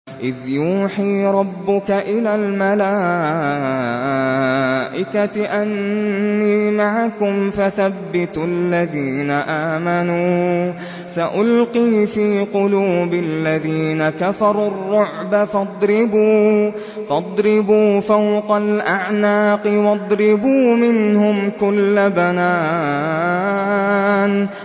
إِذْ يُوحِي رَبُّكَ إِلَى الْمَلَائِكَةِ أَنِّي مَعَكُمْ فَثَبِّتُوا الَّذِينَ آمَنُوا ۚ سَأُلْقِي فِي قُلُوبِ الَّذِينَ كَفَرُوا الرُّعْبَ فَاضْرِبُوا فَوْقَ الْأَعْنَاقِ وَاضْرِبُوا مِنْهُمْ كُلَّ بَنَانٍ